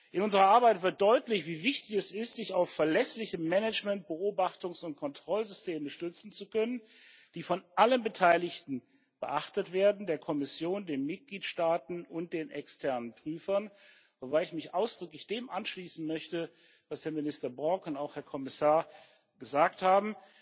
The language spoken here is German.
In unserer Arbeit wird deutlich, wie wichtig es ist, sich auf verlässliche Management Beobachtungs und Kontrollsysteme stützen zu können, die von allen Beteiligten beachtet werden der Kommission, den Mitgliedstaaten und den externen Prüfern. Wobei ich mich ausdrücklich dem anschließen möchte, was Herr Minister Borg und auch Herr Kommissar gesagt haben,